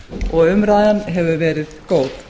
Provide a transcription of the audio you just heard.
og umræðan hefur verið góð